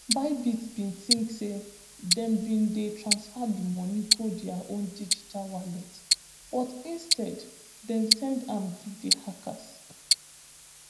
bybit bin tink say dem bin dey transfer di money go dia own digital wallet but instead dem send am give di hackers